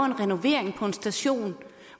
en renovering på en station